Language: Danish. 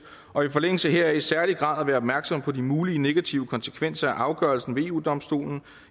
og i forlængelse heraf i særlig grad at være opmærksom på de mulige negative konsekvenser af afgørelsen ved eu domstolen